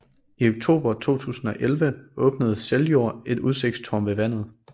I oktober 2011 åbnede Seljord et udsigtstårn ved vandet